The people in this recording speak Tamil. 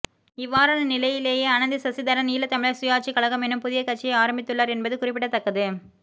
இவ்வாறான நிலையிலேயே அனந்தி சசிதரன் ஈழத்தமிழர் சுயாட்சிக் கழகம் எனும் புதிய கட்சியை ஆரம்பித்துள்ளார் என்பது குறிப்பிடத்தக்கது